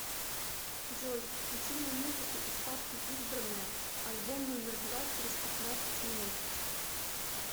джой включи мне музыку из папки избранное альбом номер два через пятнадцать минут